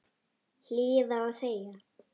Hlýða og þegja.